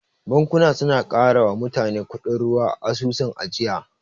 Bankuna suna karawa mutane kudin ruwa a asusun ajiya.